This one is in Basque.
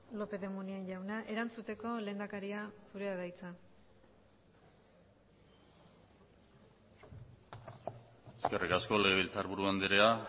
lópez de munain jauna erantzuteko lehendakaria zurea da hitza eskerrik asko legebiltzarburu andrea